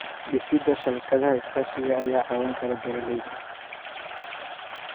Dhisida shabakadaha iskaashiga ayaa caawin kara beeralayda.